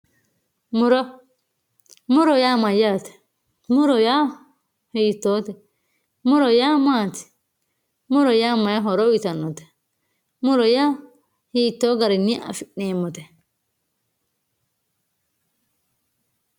muro muro yaa mayaate muro yaa hiitoote muro yaa maati muro yaa mayi horo uyiitannote muro yaa hiitoo garinni afi'neemote